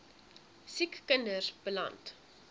siek kinders beland